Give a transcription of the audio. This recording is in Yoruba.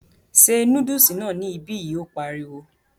Se núdùsì náà ní ibi yi, ó pariwo